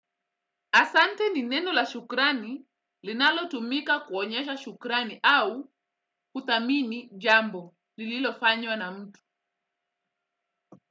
Asante ni neno la shukrani linalotumika kuonyesha shukrani au huthamini jambo lililofanywa na mtu.